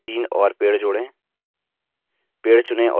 इस picture में तीन और पेड़ जोड़ें